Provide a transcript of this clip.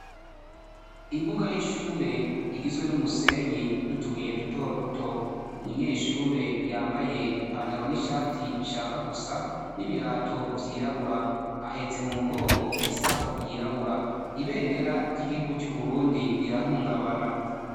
Imbuga y'ishure igizwe n'umusenyi, n'utubuye dutoduto. Umunyeshure yambaye ipantaro n'ishati bishaka gusa, n'ibirato vyirabura. Ahetse mu mugongo isaho yirabura. Ibendera ry'igihugu c'Uburundi rirahungabana.